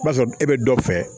I b'a sɔrɔ e bɛ dɔ fɛ